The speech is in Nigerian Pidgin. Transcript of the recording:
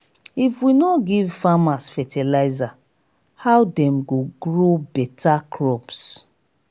if we no give farmers fertilizer how dem go grow beta crops?